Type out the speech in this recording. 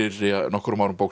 nokkrum árum bók sem hét